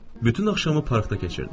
Bütün axşamı parkda keçirdim.